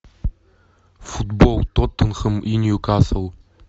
футбол тоттенхэм и ньюкасл